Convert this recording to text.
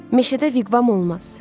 Meşədə viqvam olmaz.